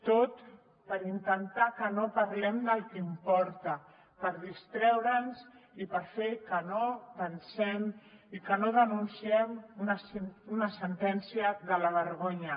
tot per intentar que no parlem del que importa per distreure’ns i per fer que no pensem i que no denunciem una sentència de la vergonya